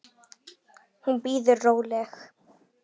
Hún bíður róleg.